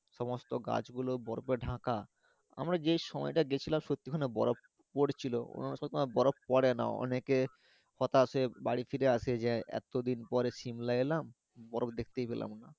সমস্ত গাছ গুলো বরফে ঢাকা আমারা যেই সময়ই টাই গেছিলাম সত্যি ই ওখানে বরফ পরছিল অনন্য সময়ই বরফ পড়ে না অনেকে হতাশ হয়ে বাড়ি ফিরে আসে যে এত দিন পর shimla এলাম বরফ দেখতেই পেলাম না